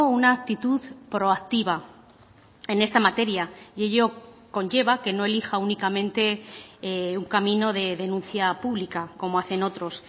una actitud proactiva en esta materia y ello conlleva que no elija únicamente un camino de denuncia pública como hacen otros